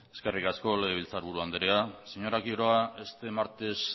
eskerrik asko legebiltzarburu andrea señora quiroga este martes